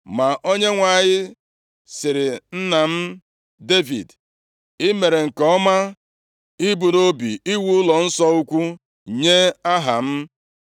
Ma Onyenwe anyị sịrị nna m, Devid, ‘I mere nke ọma ibu nʼobi iwu ụlọnsọ ukwu nye Aha m.